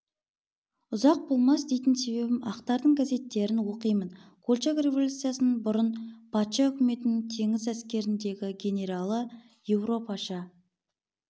ұзақ болмас дейтін себебім ақтардың газеттерін оқимын колчак революциядан бұрын патша үкіметінің теңіз әскеріндегі генералы европаша